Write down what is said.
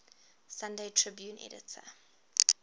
sunday tribune editor